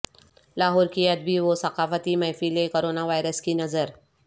لاہور کی ادبی و ثقافتی محفلیں کرونا وائرس کی نذر